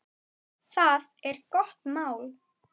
Það er gott mál.